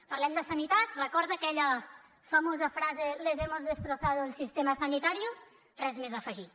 parlem de sanitat recorda aquella famosa frase les hemos destrozado el sistema sanitario res més a afegir